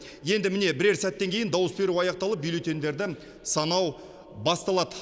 енді міне бірер сәттен кейін дауыс беру аяқталып бюллетендерді санау басталады